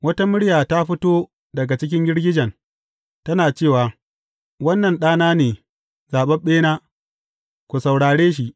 Wata murya ta fito daga cikin girgijen, tana cewa, Wannan Ɗana ne, zaɓaɓɓena, ku saurare shi.